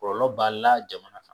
Kɔlɔlɔ b'a la jamana kan